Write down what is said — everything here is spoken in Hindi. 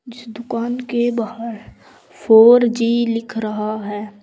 इस दुकान के बाहर फोर जी लिख रहा है।